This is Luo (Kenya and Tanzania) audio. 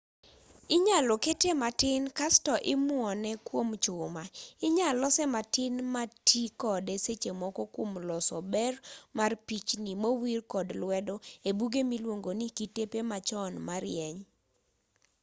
inyalo kete matin kasto imuone kuom chuma inyal lose matin matii kode sechemoko kuom loso ber mar pichnii mowir kod lwedo ebuge miluongoni kitepe machon marieny